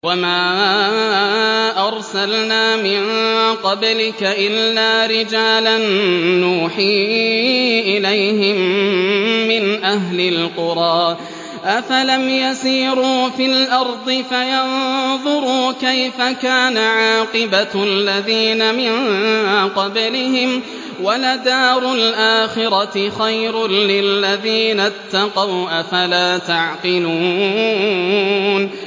وَمَا أَرْسَلْنَا مِن قَبْلِكَ إِلَّا رِجَالًا نُّوحِي إِلَيْهِم مِّنْ أَهْلِ الْقُرَىٰ ۗ أَفَلَمْ يَسِيرُوا فِي الْأَرْضِ فَيَنظُرُوا كَيْفَ كَانَ عَاقِبَةُ الَّذِينَ مِن قَبْلِهِمْ ۗ وَلَدَارُ الْآخِرَةِ خَيْرٌ لِّلَّذِينَ اتَّقَوْا ۗ أَفَلَا تَعْقِلُونَ